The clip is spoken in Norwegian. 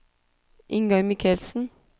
Ingar Michelsen